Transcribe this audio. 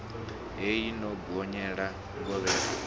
hei i no gonyela ngovhela